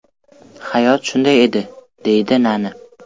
Hayot shunday edi”, deydi Nani.